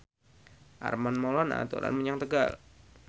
Armand Maulana dolan menyang Tegal